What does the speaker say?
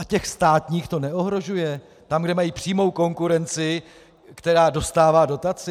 A těch státních to neohrožuje, tam, kde mají přímou konkurenci, která dostává dotaci?